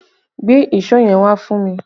Gbé èso yẹn wá fún mi!